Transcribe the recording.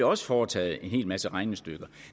også foretaget en hel masse regnestykker